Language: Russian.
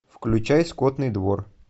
включай скотный двор